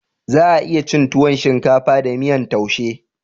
Za a iya cin tuwon shinkafa da miyan taushe